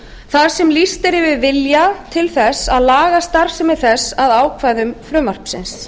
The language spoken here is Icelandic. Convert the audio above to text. þar sem lýst er yfir vilja til að laga starfsemi þess að ákvæðum frumvarpsins